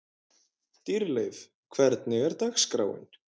Dýrleif, hvernig er dagskráin?